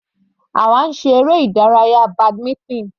Àwa ń ṣe eré ìdárayá badminton.